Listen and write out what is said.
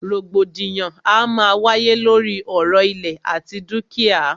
Rògbòdìyàn a máa wáyé lóri ọ̀rọ̀ ìlẹ̀ àti dúkìá.